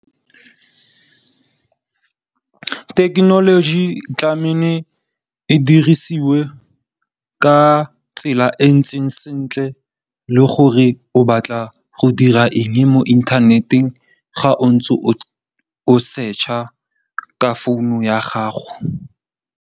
Thekenoloji tlameile e dirisiwe ka tsela e ntseng sentle le gore o batla go dira eng mo inthaneteng ga o ntse o search-a ka founu ya gago.